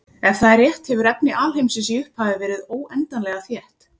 Ef það er rétt hefur efni alheimsins í upphafi verið óendanlega þétt.